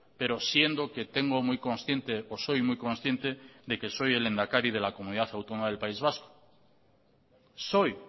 pero siendo que tengo muy consciente o soy muy consciente de que soy el lehendakari de la comunidad autónoma del país vasco soy